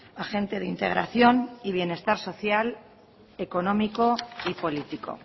agente de integración y bienestar social económico y político